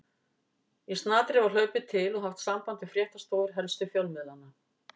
Í snatri var hlaupið til og haft samband við fréttastofur helstu fjölmiðlanna.